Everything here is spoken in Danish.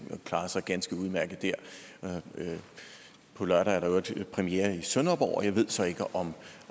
klarede sig ganske udmærket der på lørdag er der i øvrigt premiere i sønderborg og jeg ved så ikke om